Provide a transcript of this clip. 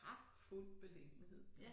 Pragtfuld beliggenhed